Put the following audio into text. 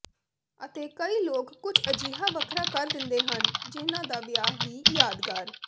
ਅਤੇ ਕਈ ਲੋਕ ਕੁਝ ਅਜਿਹਾ ਵੱਖਰਾ ਕਰ ਦਿੰਦੇ ਹਨ ਜਿਹਨਾਂ ਦਾ ਵਿਆਹ ਵੀ ਯਾਦਗਾਰ